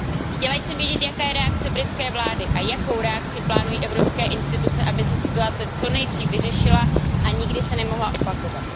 Chtěla jsem vědět, jaká je reakce britské vlády a jakou reakci plánují evropské instituce, aby se situace co nejdřív vyřešila a nikdy se nemohla opakovat.